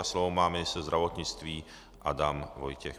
A slovo má ministr zdravotnictví Adam Vojtěch.